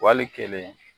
Wali kelen